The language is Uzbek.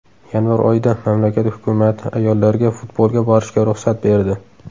Yanvar oyida mamlakat hukumati ayollarga futbolga borishga ruxsat berdi.